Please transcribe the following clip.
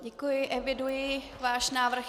Děkuji, eviduji váš návrh.